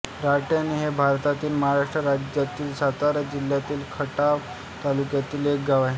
राहटाणी हे भारतातील महाराष्ट्र राज्यातील सातारा जिल्ह्यातील खटाव तालुक्यातील एक गाव आहे